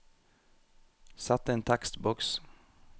Sett inn tekstboks